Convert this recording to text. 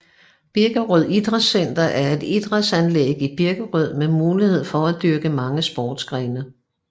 Birkerød Idrætscenter er et idrætsanlæg i Birkerød med mulighed for at dyrke mange sportsgrene